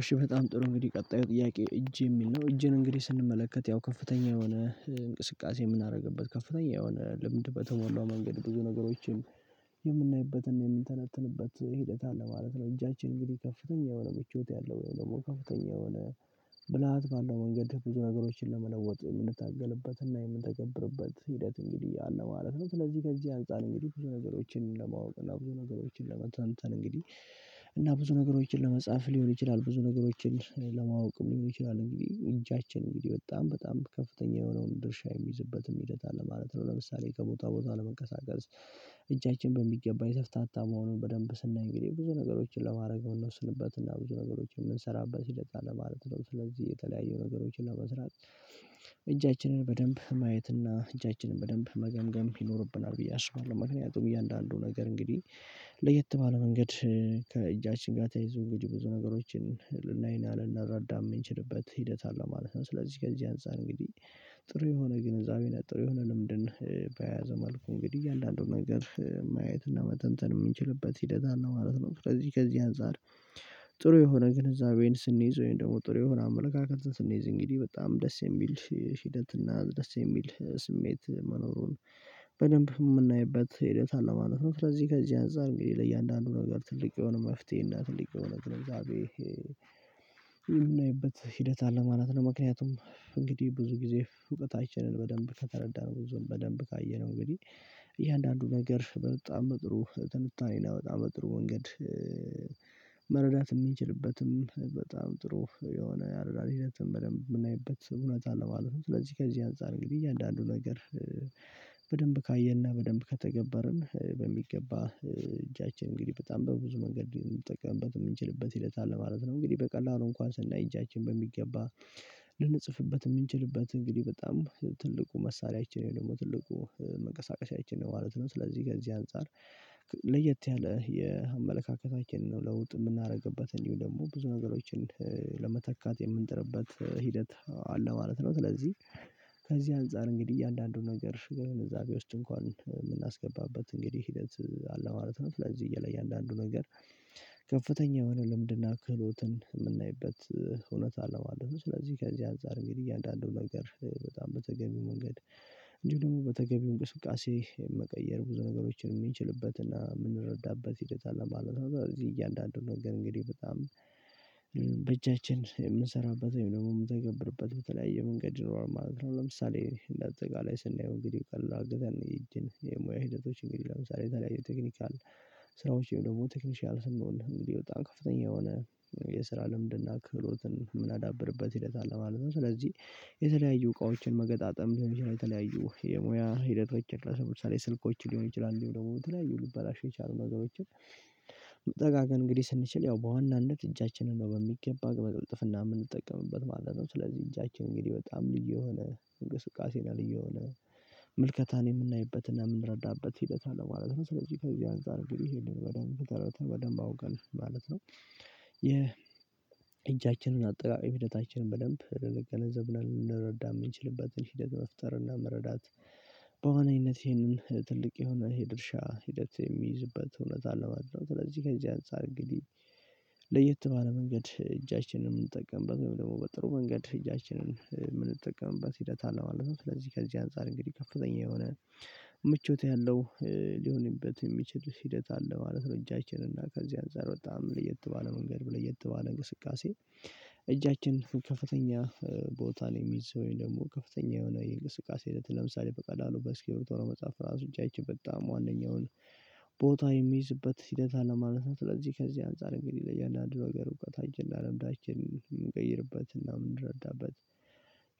እሺ በጣም ጥሩ እንግዲህ ቀጣዩ ጥያቄ እጄ የሚል ነው እጄን እንግዲህ ስንመለከት ያው ከፍተኛ የሆነ እንቅስቃሴ የምናደርግበት ከፍተኛ የሆነ ልምድ በተሞላው መንገድ ብዙ ነገሮችን የምናይበትን የምንተነትንበት ሂደት አለ ማለት ነው። እጃችን እንግዲህ ከፍተኛ የሆነ ምቾት ያለው ወይም ደግሞ ከፍተኛ የሆነ ብልሃት ባለው መንገድብዙ ነገሮችን ለመለወጥ የምንታገልበትና የምንተገብርበት ሂደት እንግዲህ አለ ማለት ነው። ስለዚህ ከዚህ አንፃር እንግዲህ ብዙ ነገሮችን ለማወቅ እና ብዙ ነገሮችን ለመተንተን እንግዲህ እና ብዙ ነገሮችን ለመጻፍ ሊሆን ይችላል ብዙ ነገሮችን ለማወቅም ሊሆን ይችላል እንግዲህ እጃችን እንግዲህ በጣም በጣም ከፍተኛ የሆነውን ድርሻ የሚይዝበትም ሂደት አለ ማለት ነው። ለምሳሌ ከቦታ ቦታ ለመንቀሳቀስ እጃችን በሚገባ የተፍታታ መሆኑን በደንብ ስናይ እንግዲህ ብዙ ነገሮችን ለማድረግ የምንወስንበት እና ብዙ ነገሮችን የምንሰራበት ሂደት አለ ማለት ነው። ስለዚህ የተለያዩ ነገሮችን ለመስራት እጃችንን በደንብ ማየት እና እጃችንን በደንብ መገምገም ይኖርብናል ብዬ አስባለሁ። ምክንያቱም እያንዳንዱ ነገር እንግዲህ ለየት ባለ መንገድ ከእጃችን ጋር ተያይዞ ብዙ ነገሮችን ልናይና ልንረዳ ምንችልበት ሂደት አለው ማለት ነው። ስለዚህ ከዚህ አንፃር እንግዲህ ጥሩ የሆነ ግንዛቤ ጥሩ የሆነ ልምድን በያዘ መልኩ እንግዲህ አንዳንዱን ነገር ማየት እና መተንተን ምንችልበት ሂደት አለ ማለት ነው። ከዚህ ከዚህ አንፃር ጥሩ የሆነ ግንዛቤ ስንይዝ ወይም ደግሞ ጥሩ የሆነ አመለካከት ስንይዝ እንግዲህ በጣም ደስ የሚል ሂደት እና ደስ የሚል ስሜት መኖሩን በደንብ ምናይበት ሂደት አለ ነው። ስለዚህ ከዚህ አንፃር እንግዲህ ለእያንዳንዱ ነገር ትልቅ የሆነ መፍትሄ እና ትልቅ የሆነግንዛቤ የምናይበት ሂደት አለ ማለት ነው። ምክንያቱም እንግዲህ ብዙ ጊዜ እውቀት አይችልም በደንብ ከተረዳን ብዙም በደንብ ካየነው እንግዲህ እያንዳንዱ ነገር በጣም በጥሩ ትንታኔና በጣም በጥሩ መንገድ መረዳት ምንችልበትም በጣም ጥሩ የሆነ ያረዳድ ሂደትም በደንብ የምናይበት እውነት አለማለትነው። ስለዚህ ከዚህ አንፃር ግን እያንዳንዱ ነገር በደንብ ካየንና በደንብ ከተገበርን በሚገባ እጃችን እንግዲህ በጣም በብዙ መንገድ ምንጠቀምበት ምንችልበት ሂደት አለ ማለት ነው። እንግዲህ በቀላሉ እንኳን ስናይ እጃችን በሚገባ ልንጽፍበት ምንችልበት እንግዲህ በጣም ትልቁ መሳሪያችን ደግሞ ትልቁ መንቀሳቀሻችን ማለት ነው። ስለዚህ ከዚህ አንፃር ለየት ያለ የአመለካከታችንን ነው ለውጥ የምናደርግበት እንዲሁ ደግሞ ብዙ ነገሮችን ለመተካት የምንጥርበት ሂደት አለ ማለት ነው። ስለዚህ ከዚህ አንፃር እንግዲህ እያንዳንዱን ነገር ግንዛቤ እዛው ውስጥ እንኳን የምናስገባበት እንግዲህ ሂደት አለ ማለት ነው። ለዚህ ለእያንዳንዱ ነገር ከፍተኛ የሆነ ለምንድነው ክህሎትን ምናይበት እውነት አለው ማለት ነው። ስለዚህ ከዚህ አንፃር እንግዲህ እያንዳንዱ ነገር በጣም በተገቢው መንገድ እንድሁም ደግሞ በተገቢው እንቅስቃሴ መቀየር ብዙ ነገሮችን ሚችልበትና ምንረዳበት ሂደት አለ ማለት ነው። እዚህ እያንዳንዱን ነገር እንግዲህ በጣም በእጃችን የምንሰራበት ወይም ደግሞ ምንተገብርበት በተለያየ መንገድ ይኖራል ማለት ነው። ለምሳሌ እንደ አጠቃላይ ስናየው እንግዲህ ቀላል ድል ያለው ይህችን የሙያ ሂደቶች እንግዲህ ለምሳሌ የተለያዩ ቴክኒካል ስራዎች ደግሞ ቴክኒሻል ስንሆን እንግዲህ በጣም ከፍተኛ የሆነ የስራ ልምድና ክህሎትን የምናዳብርበት ሂደት አለ ማለት ነው። ስለዚህ የተለያዩ እቃዎችን መገጣጠም ሊሆን ይችላል የተለያዩ የሙያ ሂደቶች ለምሳሌ ሰው ስልኮች ሊሆኑ ይችላሉ ደግሞ የተለያዩ ሊባላሹ የቻሉ ነገሮችን ጠጋ ግን እንግዲህ ስንችል ያው በዋናነት እጃችንን ነው በሚገባ በቅልጥፍና የምንጠቀምበት ማለት ነው። ስለዚህ እጃችን እንግዲህ በጣም ልዩ የሆነ እንቅስቃሴና ልዩ የሆነ ምልከታን የምናይበትና የምንረዳበት ሂደት አለማለት ነው። ስለዚህ ከዚህ አንፃር እንግዲህ ይሄንን በደንብ ተረድተህ በደንብ አውቀን ማለት ነው። የእጃችንን አጠቃላይ ሂደታችንን በደንብ ልንገነዘብ እና ልንረዳ ምንችልበትን ሂደት መፍጠር እና መረዳት በዋናይነት ይህንን ትልቅ የሆነ ይሄ ድርሻ ሂደት የሚይዝበት እውነታን ለማድረግ ስለዚህ ከዚህ አንፃር እንግዲህ ለየት ባለ መንገድ እጃችንን የምንጠቀምበት ወይም ደግሞ በጥሩ መንገድ እጃችንን የምንጠቀምበት ሂደት አለ ማለት ነው። ስለዚህ ከዚህ አንፃር እንግዲህ ከፍተኛ የሆነ ምቾት ያለው ሊሆንበት የሚችል ሂደት አለ ማለት ነው። እጃችን እና ከዚህ አንፃር በጣም ለየት ባለ መንገድ ለየት ባለ እንቅስቃሴ እጃችን ከፍተኛ ቦታ ላይ የሚይዝ ወይም ደግሞ ከፍተኛ የሆነ የእንቅስቃሴ አይነት ለምሳሌ በቀላሉ በእስኪብርቶ ለመጻፍ ራሱ እጃችን በጣም ዋነኛዉውን ቦታ የሚይዝበት ሂደት አለማለት ነው። ስለዚህ ከዚህ አንፃር እንግዲህ ለእያንዳንዱ ነገር እውቀታችንና ልምዳችንን ምንቀይርበትና ምንረዳበት